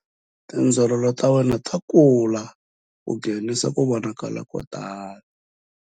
Tindzololo ta wena ta kula ku nghenisa ku vonakala ko tala.